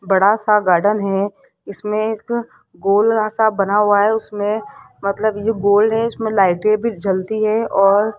बड़ा सा गार्डन है इसमें एक गोल सा बना हुआ है उसमें मतलब ये गोल है इसमें लाइटे भी जलती है और --